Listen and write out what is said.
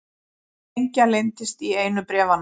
Sprengja leyndist í einu bréfanna